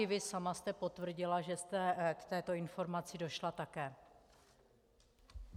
I vy sama jste potvrdila, že jste k této informaci došla také.